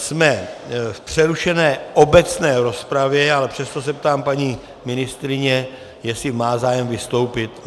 Jsme v přerušené obecné rozpravě, ale přesto se ptám paní ministryně, jestli má zájem vystoupit.